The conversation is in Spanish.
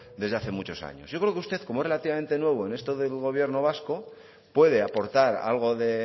desde hace muchos años yo creo que usted como es relativamente nuevo en esto del gobierno vasco puede aportar algo de